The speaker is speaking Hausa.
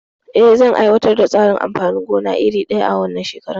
Eh, zan aiwatar da tsarin amfanin gona iri daya a wannan shekarar?